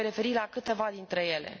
Mă voi referi la câteva dintre ele.